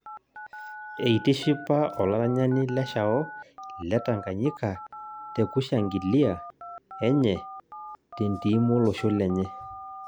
Eitishipa olaranyani Leshao letanganyika tekushangilia enye tentim olosho lenye